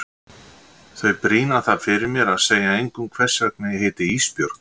Þau brýna það fyrir mér að segja engum hvers vegna ég heiti Ísbjörg.